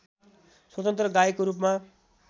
स्वतन्त्र गायकको रूपमा